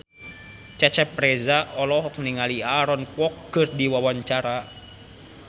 Cecep Reza olohok ningali Aaron Kwok keur diwawancara